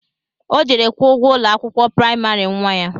Ọ jere kwuo ụgwọ ụlọ akwụkwọ praịmarị nnwa ya